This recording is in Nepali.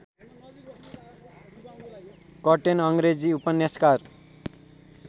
कर्टेन अङ्ग्रेजी उपन्यासकार